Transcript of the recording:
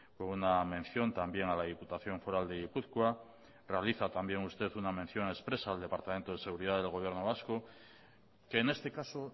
con una mención también a la diputación foral de gipuzkoa realiza también usted una mención expresa al departamento de seguridad del gobierno vasco que en este caso